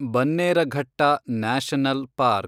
Bannerghatta national park